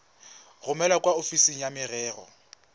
romele kwa ofising ya merero